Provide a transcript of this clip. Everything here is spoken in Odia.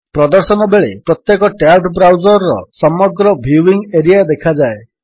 ପ୍ରଦର୍ଶନ ବେଳେ ପ୍ରତ୍ୟେକ ଟ୍ୟାବ୍ ବ୍ରାଉଜର୍ ର ସମଗ୍ର ଭ୍ୟୁୟିଙ୍ଗ୍ ଏରିଆରେ ଦେଖାଯାଏ